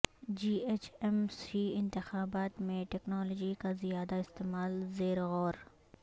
جی H M C انتخابات میں technology کا زیادہ استعمال زیرغور